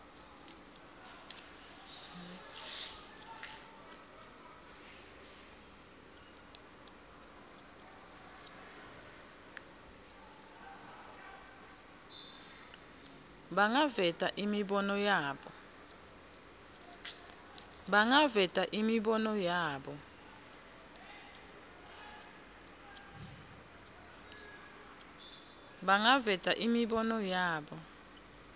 bangaveta imibono yabo